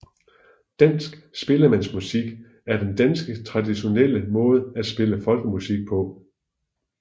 Dansk spillemandsmusik er den danske traditionelle måde at spille folkemusik på